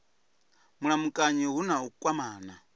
mulamukanyi hu na u kwamana